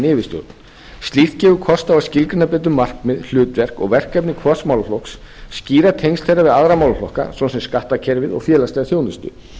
yfirstjórn slíkt gefur kost á að skyggna betur markmið hlutverk og verkefni hvers málaflokks skýra tengsl þeirra við aðra málaflokka svo sem skattkerfið og félagslega þjónustu